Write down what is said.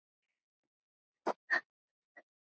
Ég elska þig afi.